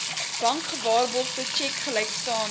bankgewaarborgde tjek gelykstaande